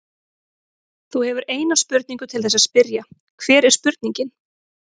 Þú hefur eina spurningu til þess að spyrja, hver er spurningin?